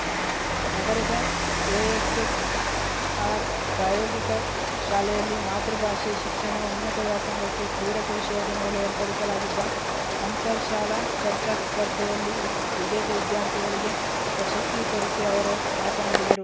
ನಗರದ ಎಎಸ್‌ಎಸ್‌ಆರ್‌ ಪ್ರಾಯೋಗಿಕ ಶಾಲೆಯಲ್ಲಿ ಮಾತೃಭಾಷೆ ಶಿಕ್ಷಣ ಉನ್ನತ ವ್ಯಾಸಂಗಕ್ಕೆ ಪೂರಕವಿಷಯದ ಮೇಲೆ ಏರ್ಪಡಿಸಲಾಗಿದ್ದ ಅಂತರ ಶಾಲಾ ಚರ್ಚಾ ಸ್ಪರ್ಧೆಯಲ್ಲಿ ವಿ ವಿಜೇತ ವಿದ್ಯಾರ್ಥಿಗಳಿಗೆ ಪ್ರಶಸ್ತಿ ವಿತರಿಸಿ ಅವರು ಮಾತನಾಡಿದರು